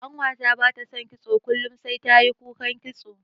Ƙanwata bata son kitso kullun sai tayi kukan kitso.